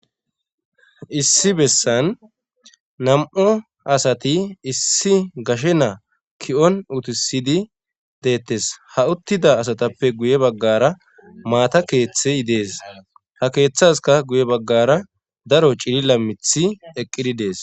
Issi bessan nam7o asati issi gashe naa ki7on utisidi deettes ha uttida asatappe guye baggara maata keeththe yidees ha keeththaska guye baggara daro cilila mithi eqqidi dees.